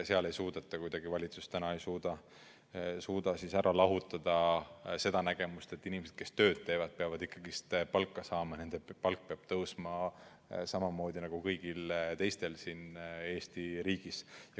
Valitsus ei suuda sealt lahutada seda nägemust, et inimesed, kes tööd teevad, peavad ikkagi palka saama, nende palk peab tõusma samamoodi nagu kõigil teistel siin Eesti riigis.